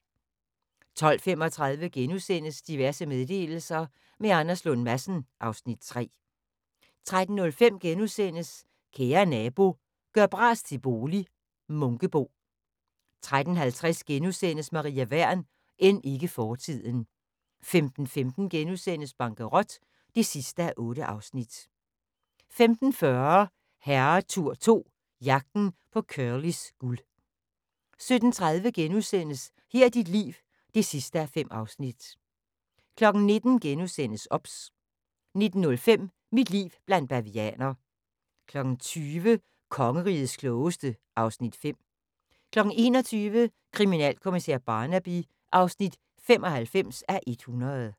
12:35: Diverse meddelelser – med Anders Lund Madsen (Afs. 3)* 13:05: Kære Nabo – gør bras til bolig - Munkebo * 13:50: Maria Wern: End ikke fortiden * 15:15: Bankerot (8:8)* 15:40: Herretur 2 – Jagten på Curlys guld 17:30: Her er dit liv (5:5)* 19:00: OBS * 19:05: Mit liv blandt bavianer 20:00: Kongerigets Klogeste (Afs. 5) 21:00: Krimminalkommissær Barnaby (95:100)